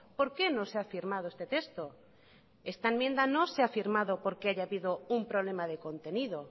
por qué no se ha firmado este texto esta enmienda no se ha firmado porque haya habido un problema de contenido